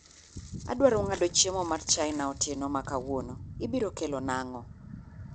Adwaro ng’ado chiemo mar China otieno ma kawuono, ibiro kelona ang’o?